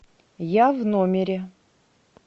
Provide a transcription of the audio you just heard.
я в номере